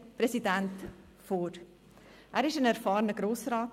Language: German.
Er ist ein erfahrener Grossrat.